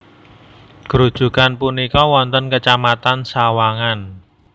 Grujugan punika wonten kecamatan Sawangan